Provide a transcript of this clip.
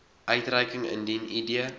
uitreiking indien id